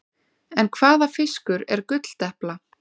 En hvaða fiskur er gulldepla?